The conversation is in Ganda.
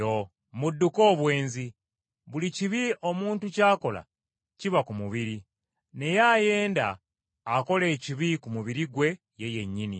Mudduke obwenzi. Buli kibi omuntu ky’akola kiba ku mubiri, naye ayenda akola ekibi ku mubiri gwe ye yennyini.